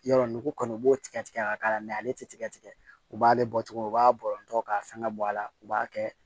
Yɔrɔ nugu kɔni u b'o tigɛ tigɛ k'a k'a la mɛ ale tɛ tigɛ tigɛ u b'ale bɔ tugun u b'a bɔ k'a fɛngɛ bɔ a la u b'a kɛ